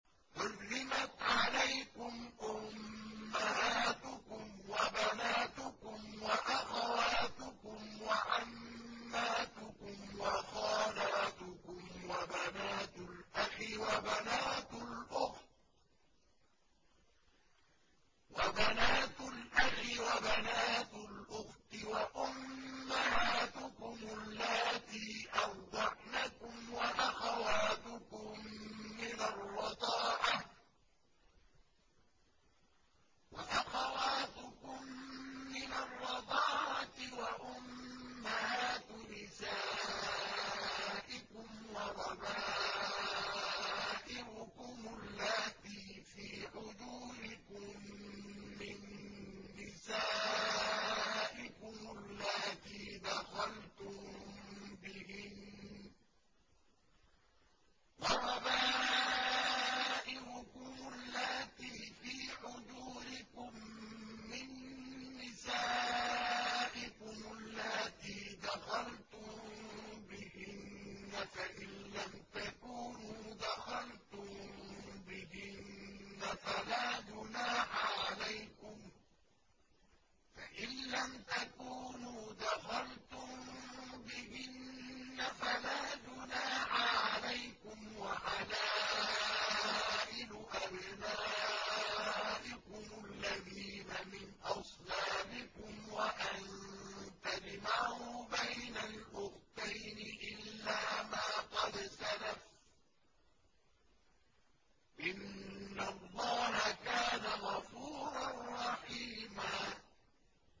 حُرِّمَتْ عَلَيْكُمْ أُمَّهَاتُكُمْ وَبَنَاتُكُمْ وَأَخَوَاتُكُمْ وَعَمَّاتُكُمْ وَخَالَاتُكُمْ وَبَنَاتُ الْأَخِ وَبَنَاتُ الْأُخْتِ وَأُمَّهَاتُكُمُ اللَّاتِي أَرْضَعْنَكُمْ وَأَخَوَاتُكُم مِّنَ الرَّضَاعَةِ وَأُمَّهَاتُ نِسَائِكُمْ وَرَبَائِبُكُمُ اللَّاتِي فِي حُجُورِكُم مِّن نِّسَائِكُمُ اللَّاتِي دَخَلْتُم بِهِنَّ فَإِن لَّمْ تَكُونُوا دَخَلْتُم بِهِنَّ فَلَا جُنَاحَ عَلَيْكُمْ وَحَلَائِلُ أَبْنَائِكُمُ الَّذِينَ مِنْ أَصْلَابِكُمْ وَأَن تَجْمَعُوا بَيْنَ الْأُخْتَيْنِ إِلَّا مَا قَدْ سَلَفَ ۗ إِنَّ اللَّهَ كَانَ غَفُورًا رَّحِيمًا